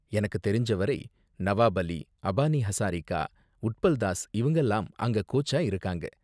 எனக்கு தெரிஞ்ச வரை, நவாப் அலி, அபானி ஹசாரிகா, உட்பல் தாஸ் இவங்கலாம் அங்க கோச்சா இருக்காங்க.